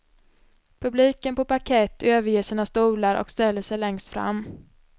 Publiken på parkett överger sina stolar och ställer sig längst fram.